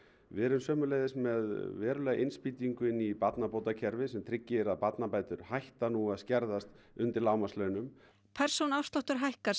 við erum sömuleiðis með verulega innspýtingu inn í barnabótakerfið sem tryggir að barnabætur hætta nú að skerðast undir lágmarkslaunum persónuafsláttur hækkar